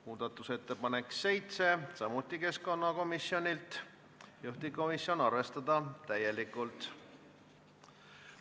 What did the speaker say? Muudatusettepanek nr 7 on samuti keskkonnakomisjonilt, juhtivkomisjoni ettepanek on arvestada täielikult.